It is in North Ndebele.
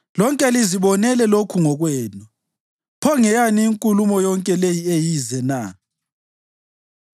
Lonke lizibonele lokhu ngokwenu. Pho, ngeyani inkulumo yonke le eyize na?